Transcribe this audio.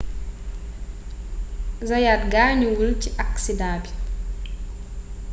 zayaat gaañuwul ci aksidaa bi